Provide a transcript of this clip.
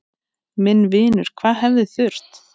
Minn vinur, hvað hefði þurft?